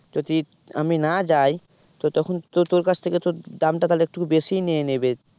যদি আমি না যাই তো তখন তো তোর কাছ থেকে তো দামটা তাহলে একটুকু বেশি নিয়ে নেবে।